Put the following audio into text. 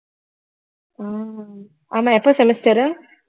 ஆஹ் ஆமா எப்ப semester உ